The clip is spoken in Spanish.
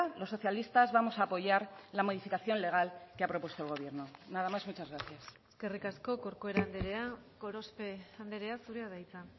los socialistas vamos a apoyar la modificación legal que ha propuesto el gobierno nada más muchas gracias eskerrik asko corcuera andrea gorospe andrea zurea da hitza